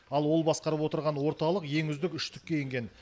ал ол басқарып отырған орталық ең үздік үштікке енген